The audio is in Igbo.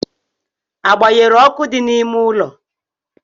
A gban̄yere ọkụ dị na-ịme ụlo?